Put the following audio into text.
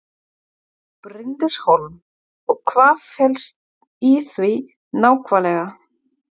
Bryndís Hólm: Og hvað felst í því nákvæmlega?